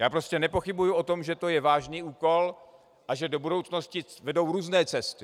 Já prostě nepochybuju o tom, že to je vážný úkol a že do budoucnosti vedou různé cesty.